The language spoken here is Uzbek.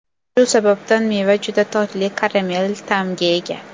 Shu sababdan meva juda totli karamel ta’mga ega.